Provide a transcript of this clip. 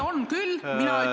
On küll!